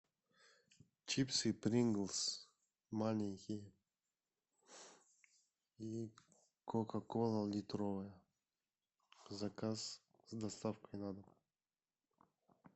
чипсы принглс маленькие и кока кола литровая заказ с доставкой на дом